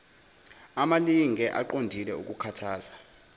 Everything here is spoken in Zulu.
amalinge aqondile okukhuthaza